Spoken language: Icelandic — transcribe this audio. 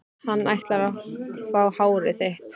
Hann ætlar að fá hárið þitt.